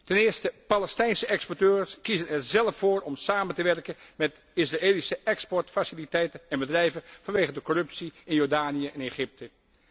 Ten eerste Palestijnse exporteurs kiezen er zelf voor om samen te werken met Israëlische exportfaciliteiten en bedrijven vanwege de corruptie in Jordanië en Egypte.